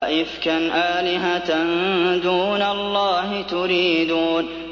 أَئِفْكًا آلِهَةً دُونَ اللَّهِ تُرِيدُونَ